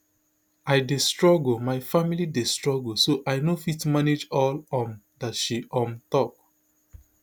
i dey struggle my family dey struggle so i no fit manage all um dat she um tok